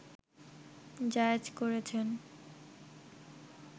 জায়েজ করেছেন